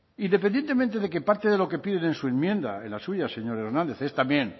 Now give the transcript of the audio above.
independientemente de que parte de lo que piden en su enmienda en las suya señor hernández es también